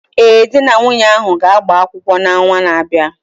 Ee, di na nwunye ahụ ga-agba kwụkwọ n'ọnwa na-abịa